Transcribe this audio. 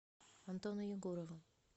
антону егорову